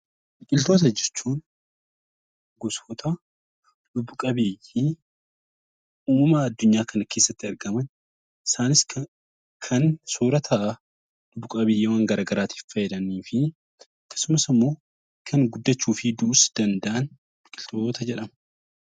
Biqiltoota jechuun gosoota lubbu qabeeyyii uumama addunyaa kana keessatti argaman, isaanis soorata lubbu qabeeyyiiwwan gara garaa tiif fayyadanii fi kan guddachuu fi du'uus danda'an 'Biqiltoota' jedhamu.